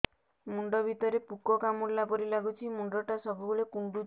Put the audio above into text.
ମୁଣ୍ଡ ଭିତରେ ପୁକ କାମୁଡ଼ିଲା ପରି ଲାଗୁଛି ମୁଣ୍ଡ ଟା ସବୁବେଳେ କୁଣ୍ଡୁଚି